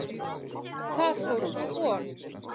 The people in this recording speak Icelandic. Þar fór sú von.